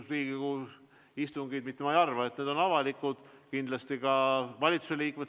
Riigikogu istungid on avalikud ja ma arvan, et ka valitsuse liikmed vaatavad neid.